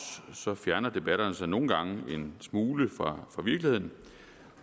så fjerner debatterne sig nogle gange en smule fra virkeligheden